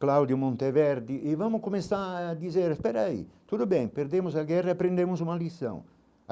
Claudio Monte Verde, e vamos começar a dizer, espera aí, tudo bem, perdemos a guerra, aprendemos uma lição.